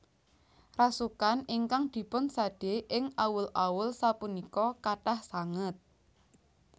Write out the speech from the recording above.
Rasukan ingkang dipun sade ing awul awul sapunika kathah sanget